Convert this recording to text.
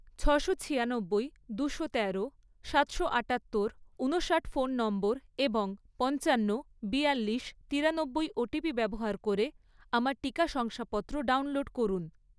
ছশো ছিয়ানব্বই, দুশো তেরো, সাতশো আটাত্তর, ঊনষাট ফোন নম্বর এবং পঞ্চান্ন, বিয়াল্লিশ, তিরানব্বই ওটিপি ব্যবহার করে আমার টিকা শংসাপত্র ডাউনলোড করুন।